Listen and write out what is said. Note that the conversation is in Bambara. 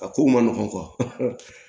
A ko man nɔgɔn